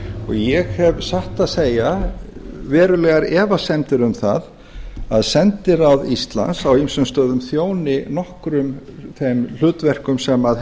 ég hef satt að segja verulegar efasemdir um það að sendiráð íslands á ýmsum stöðum þjóni nokkrum þeim hlutverkum sem